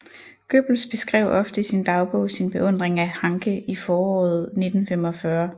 Goebbels beskrev ofte i sin dagbog sin beundring af Hanke i foråret 1945